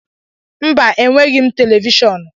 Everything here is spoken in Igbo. Mba enweghị televishọọnu